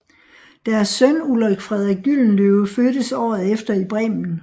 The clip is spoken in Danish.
Deres søn Ulrik Frederik Gyldenløve fødtes året efter i Bremen